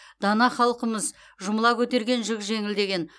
дана қалқымыз жұмыла көтерген жүк жеңіл деген